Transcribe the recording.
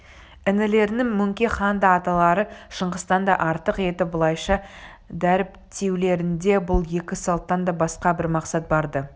інілерінің мөңке ханды аталары шыңғыстан да артық етіп былайша дәріптеулерінде бұл екі салттан да басқа бір мақсат бар-ды